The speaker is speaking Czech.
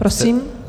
Prosím.